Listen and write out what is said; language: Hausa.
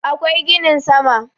akwai ginin sama